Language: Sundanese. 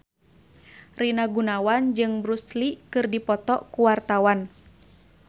Rina Gunawan jeung Bruce Lee keur dipoto ku wartawan